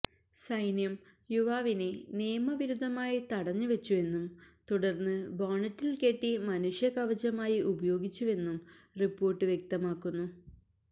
സൈന്യം യുവാവിനെ നിയമവിരുദ്ധമായി തടഞ്ഞ് വെച്ചുവെന്നും തുടര്ന്ന് ബോണറ്റില് കെട്ടി മനുഷ്യകവചമായി ഉപയോഗിച്ചുവെന്നും റിപ്പോര്ട്ട് വ്യക്തമാക്കുന്നു